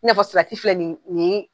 N'a fɔ salati filɛ nin ye